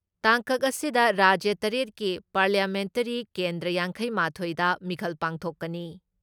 ꯇꯥꯡꯀꯛ ꯑꯁꯤꯗ ꯔꯥꯖ꯭ꯌ ꯇꯔꯦꯠꯀꯤ ꯄꯥꯔꯂꯤꯌꯥꯃꯦꯟꯇꯔꯤ ꯀꯦꯟꯗ꯭ꯔ ꯌꯥꯡꯈꯩ ꯃꯥꯊꯣꯏꯗ ꯃꯤꯈꯜ ꯄꯥꯡꯊꯣꯛꯀꯅꯤ ꯫